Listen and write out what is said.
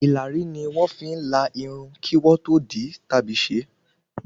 Ìlàrí ni wón fi ń la Irun kí wọ́n tó di tàbí ṣé